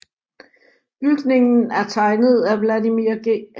Bygningen er tegnet af Vladimir G